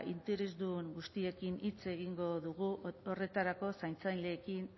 interesdun guztiekin hitz egingo dugu horretarako zaintzaileekin